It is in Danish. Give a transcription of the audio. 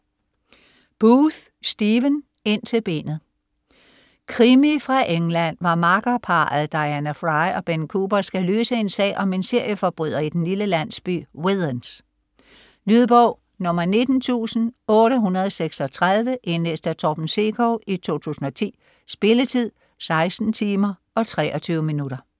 Booth, Stephen: Ind til benet Krimi fra England, hvor makkerparret Diana Fry og Ben Cooper skal løse en sag om en serieforbryder i den lille landsby Withens. Lydbog 19836 Indlæst af Torben Sekov, 2010. Spilletid: 16 timer, 23 minutter.